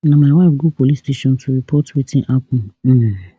na my wife go police station to report wetin happun um